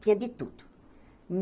Tinha de tudo.